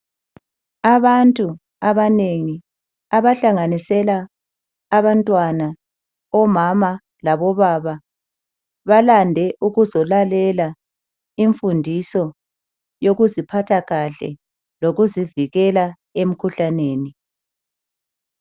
Abantu abanengi abahlanganisela abantwana, omama lobaba balande ukuzolalela imfundiso yokuziphatha kahle lokuzivikela emikhuhlaneni.